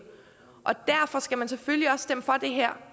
derfor skal man selvfølgelig også stemme for det her